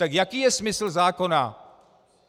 Tak jaký je smysl zákona?